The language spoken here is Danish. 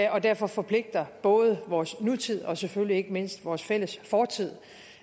og derfor forpligter både vores nutid og selvfølgelig ikke mindst vores fælles fortid